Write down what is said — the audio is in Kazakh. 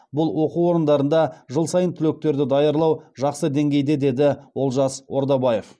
бұл оқу орындарында жыл сайын түлектерді даярлау жақсы деңгейде деді олжас ордабаев